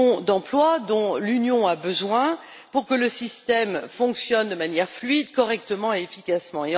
d'emplois dont l'Union a besoin pour que le système fonctionne de manière fluide, correctement et efficacement.